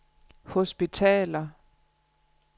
hospitaler